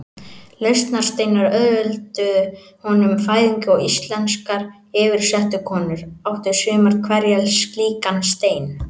Lausnarsteinar auðvelduðu konum fæðingu og íslenskar yfirsetukonur áttu sumar hverjar slíkan stein.